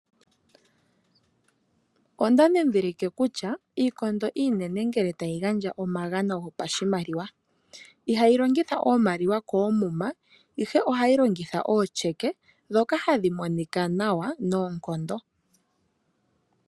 Onda dhidhilike kutya iikondo iinene ngele tayi gandja omagano gopashimaliwa ihayi longitha iimaliwa koomuma ihe ohayi longitha oosheke dhoka hadhi monika nawa noonkondo.